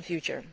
future.